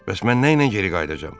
Bəs mən nəylə geri qayıdacağam?